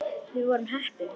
Við vorum heppni.